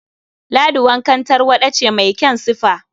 Ladi wankan tarwaɗa ce mai kyan sifa.